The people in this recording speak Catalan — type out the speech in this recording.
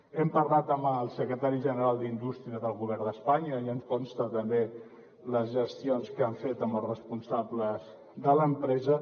hem parlat amb el secretari general d’indústria del govern d’espanya i ens consten també les gestions que han fet amb els responsables de l’empresa